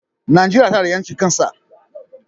Najeria tana da yancin kan sa.